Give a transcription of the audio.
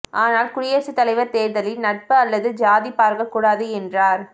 ஆனால் குடியரசுத் தலைவர் தேர்தலில் நட்பு அல்லது சாதி பார்க்கக் கூடாது என்றார்